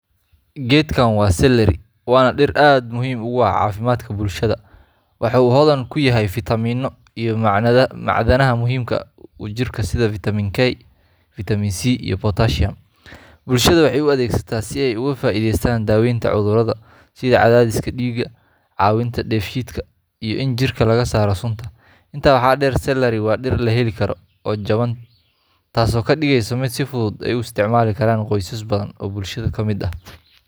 Geedkan waa celery, waana dhir aad muhiim ugu ah caafimaadka bulshada. Waxa uu hodan ku yahay fiitamiinno iyo macdanaha muhiimka u ah jirka sida vitamin K, C, iyo [cs[potassium. Bulshada waxay u adeegsataa si ay uga faa’iideystaan daaweynta cudurrada sida cadaadiska dhiigga, caawinta dheefshiidka, iyo in jirka laga saaro sunta. Intaa waxaa dheer, celary waa dhir la heli karo oo jaban, taasoo ka dhigaysa mid si fudud ay u isticmaali karaan qoysas badan oo bulshada ka mid ah.